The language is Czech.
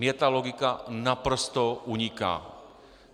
Mně ta logika naprosto uniká.